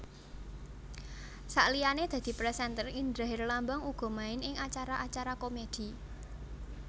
Saliyané dadi presenter Indra Herlambang uga main ing acara acara komedi